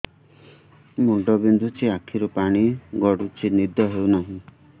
ମୁଣ୍ଡ ବିନ୍ଧୁଛି ଆଖିରୁ ପାଣି ଗଡୁଛି ନିଦ ହେଉନାହିଁ